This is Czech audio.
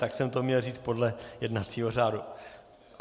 Tak jsem to měl říct podle jednacího řádu.